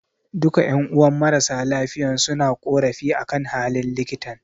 Duka ƴan'uwan marasa lafiyan suna korafi akan halin likitan